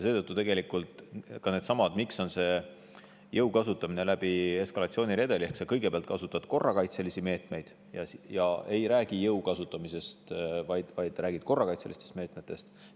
Seetõttu tegelikult käibki jõu kasutamine läbi eskalatsiooniredeli: kõigepealt kasutad korrakaitselisi meetmeid, sa ei räägi jõu kasutamisest, vaid räägid korrakaitselistest meetmetest.